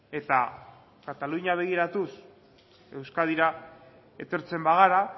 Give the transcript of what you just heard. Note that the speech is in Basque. eta katalunia begiratuz euskadira etortzen bagara